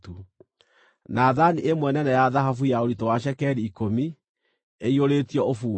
na thaani ĩmwe nene ya thahabu ya ũritũ wa cekeri ikũmi, ĩiyũrĩtio ũbumba;